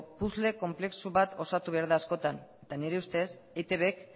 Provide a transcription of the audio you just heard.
puzzle konplexu bat osatu behar da askotan eta nire ustez eitbk